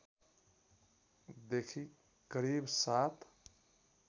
देखि करिब ७